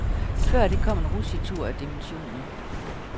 Før det kom en rutschetur af dimensioner.